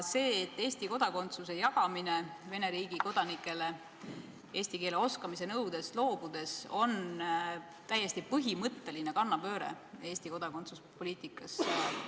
See, et Eesti kodakondsus antakse Vene riigi kodanikele eesti keele oskamise nõuet esitamata, on täiesti põhimõtteline kannapööre Eesti kodakondsuspoliitikas.